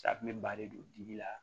Safunɛ ba de don dibi la